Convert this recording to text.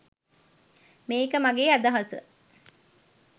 මේක මගේ අදහස